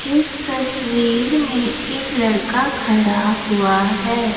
इस तस्वीर में एक लड़का खड़ा हुआ है।